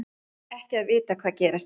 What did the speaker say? Annars ekki að vita hvað gerast kynni.